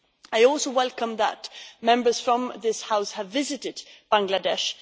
I also welcome that Members from this House have visited Bangladesh